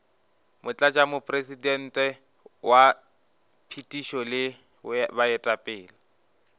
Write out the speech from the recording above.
motlatšamopresidente wa phethišo le baetapele